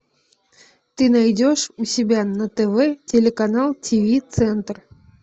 ты найдешь у себя на тв телеканал тв центр